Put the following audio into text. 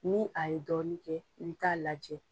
Ni a ye dɔɔnin kɛ i bi taa lajɛ.